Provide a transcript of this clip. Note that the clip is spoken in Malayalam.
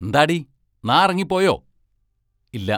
എന്താടീ, നാറങ്ങിപ്പോയോ?--ഇല്ല?